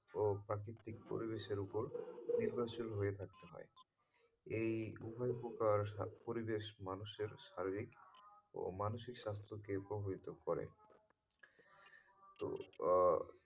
ও প্রাকৃতিক পরিবেশের ওপর নির্ভরশীল হয়ে থাকতে হয় এই উভয় প্রকার পরিবেশ মানুষের শারীরিক মানসিক স্বাস্থ্যকে উপভিত করে তো আহ